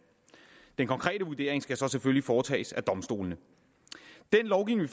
den konkrete vurdering skal selvfølgelig foretages af domstolene den lovgivning